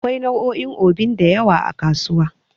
Akwai nau'o'in Obin da yawa a kasuwa.